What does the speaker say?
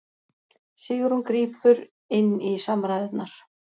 Sigrún grípur inn í samræðurnar